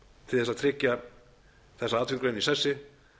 til þess að tryggja þessa atvinnugrein í sessi